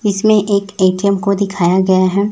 इसमें एक ए_टी_एम को दिखाया गया है।